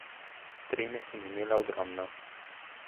Treme sem imela ogromno.